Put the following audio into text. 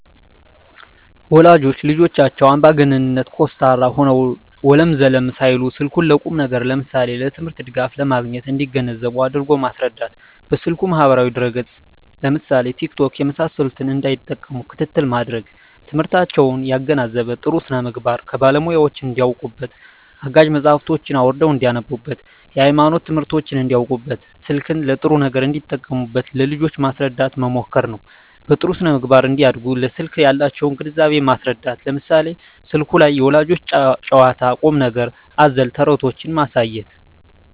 ወላጆች ለልጆቻቸው አምባገነን (ኮስታራ) ሆነው ወለም ዘለም ሳይሉ ስልኩን ለቁም ነገር ለምሳሌ ለትምህርት ድጋፍ ለማግኘት እንዲገነዘቡ አድርጎ ማስረዳት። በስልኩ ማህበራዊ ድረ ገፅ ለምሳሌ ቲክቶክ የመሳሰሉትን እንዳይጠቀሙ ክትትል ማድረግ። ትምህርታቸውን ያገናዘበ , ጥሩ ስነምግባር ከባለሙያወች እንዳውቁበት , አጋዥ መፅሀፎችን አውርደው እንዳነቡብት, የሀይማኖት ትምህርቶችን እንዳውቁበት , ስልክን ለጥሩ ነገር እንዲጠቀሙ ለልጆች ማስረዳት መምከር ነው። በጥሩ ስነ-ምግባር እንዲያድጉ ለስልክ ያላቸውን ግንዛቤ ማስረዳት ለምሳሌ ስልኩ ላይ የልጆች ጨዋታ ቁም ነገር አዘል ተረቶችን ማሳየት